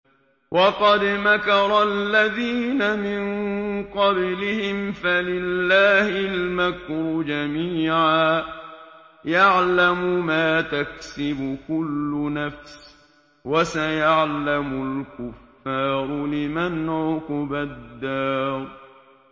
وَقَدْ مَكَرَ الَّذِينَ مِن قَبْلِهِمْ فَلِلَّهِ الْمَكْرُ جَمِيعًا ۖ يَعْلَمُ مَا تَكْسِبُ كُلُّ نَفْسٍ ۗ وَسَيَعْلَمُ الْكُفَّارُ لِمَنْ عُقْبَى الدَّارِ